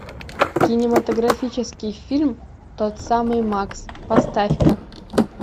кинематографический фильм тот самый мак поставь ка